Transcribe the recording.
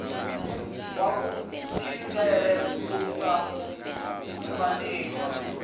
ya kutshilele ku sa faniho